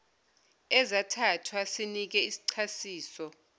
ezathathwa sinike isichasiso